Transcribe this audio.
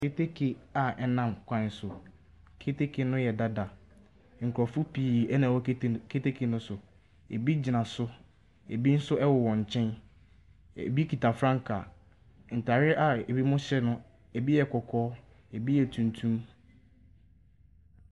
Keteke a ɛnam ɛkwan so. Keteke no ɛyɛ dada. Nkurofo pii ɛna ɛwɔ keteke no so. Ebi gyina so, ebi nso ɛwowɔ nkyɛn. Ebi kita frankaa. Ntaareɛ a ebi mo hyɛ no ebi yɛ kɔkɔɔ, ebi yɛ tumtum.